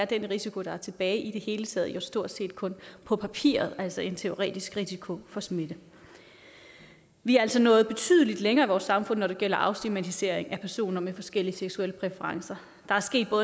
den risiko der er tilbage i det hele taget jo stort set kun på papiret altså en teoretisk risiko for smitte vi er altså nået betydelig længere i vores samfund når det gælder afstigmatisering af personer med forskellige seksuelle præferencer der er sket